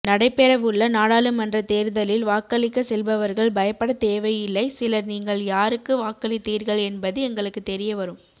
நடைபெறவுள்ள நாடாளுமன்ற தேர்தலில் வாக்களிக்க செல்பவர்கள் பயப்பட தேவையில்லை சிலர் நீங்கள் யாருக்கு வாக்களித்தீர்கள் என்பது எங்களுக்கு தெரிய வரும்